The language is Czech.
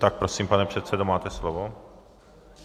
Tak prosím pane předsedo, máte slovo.